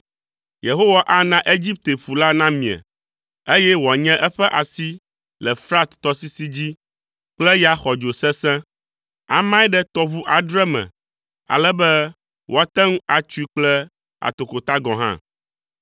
Yehowa ana Egipte ƒu la namie, eye wòanye eƒe asi le Frat tɔsisi dzi kple ya xɔdzo sesẽ. Amae ɖe tɔʋu adre me ale be woate ŋu atsoe kple atokota gɔ̃ hã.